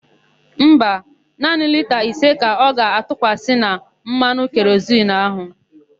Mba, naanị lita ise ka ọ ga-atụkwasị na mmanụ kerozinu áhụ̀.